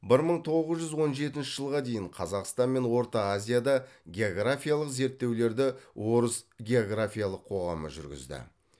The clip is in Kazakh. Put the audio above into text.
бір мың тоғыз жүз он жетінші жылға дейін қазақстан мен орта азияда географиялық зерттеулерді орыс географиялық қоғамы жүргізді